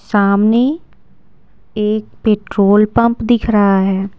सामने एक petrol pump दिख रहा है।